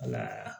Wala